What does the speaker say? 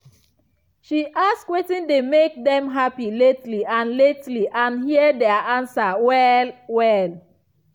she ask wetin dey make dem happy lately and lately and hear their answer well-well.